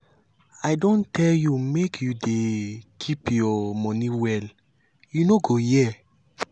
i don tell you make you dey keep your money well you no go hear